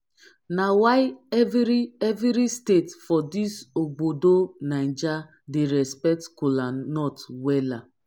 na why evri evri state for dis obodo naija dey respekt kolanut wella